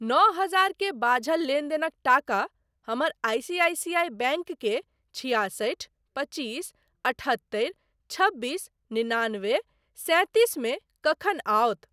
नओ हजार के बाझल लेनदेनक टाका हमर I C I C I bank के छिआसठि पचीस अठहत्तरि छबीस निनानबे सैंतीस मे कखन आओत?